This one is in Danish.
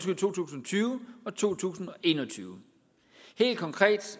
tyve og to tusind og en og tyve helt konkret